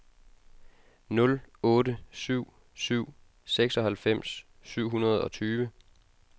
nul otte syv syv seksoghalvfems syv hundrede og tyve